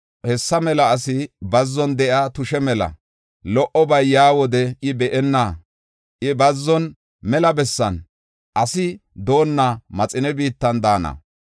Hessa mela asi bazzon de7iya tushe mela; lo77obay yaa wode I be7enna. I bazzon, mela bessan, asi doonna maxine biittan daana.